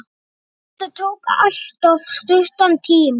Þetta tók alltof stuttan tíma.